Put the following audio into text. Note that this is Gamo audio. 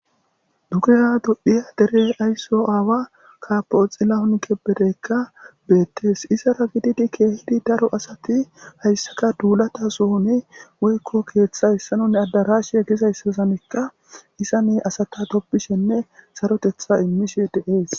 Dugera dophiya dere ayso aawa kapoxilanke bereykka beettes izara gididi keehidi daro asati hayssaka duulata sohuni woykko keeththa hessanonne addarash egizayssasanekka isa ne asata toppishenne sarotetha immishe deees